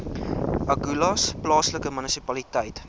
agulhas plaaslike munisipaliteit